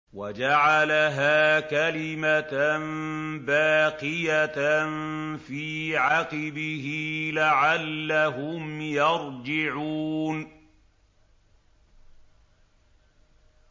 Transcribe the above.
وَجَعَلَهَا كَلِمَةً بَاقِيَةً فِي عَقِبِهِ لَعَلَّهُمْ يَرْجِعُونَ